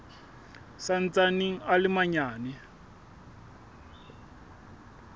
sa ntsaneng a le manyane